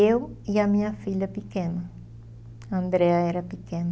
Eu e a minha filha pequena, a Andrea era pequena.